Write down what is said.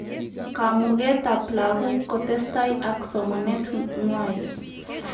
Kamugetab laguk kotestai ak somanet ngway